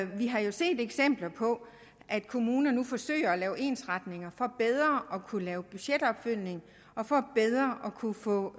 vi har set eksempler på at kommunerne forsøger at lave ensretning for bedre at kunne lave budgetopfølgning og for bedre at kunne få